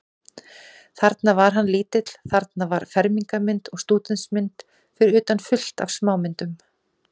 Þarna var hann lítill, þarna var fermingarmynd og stúdentsmynd, fyrir utan fullt af smámyndum.